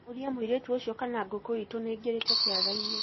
ũria mũirĩtu ũcio kana ngũkũ itũ nĩĩngĩrĩte kĩarainĩ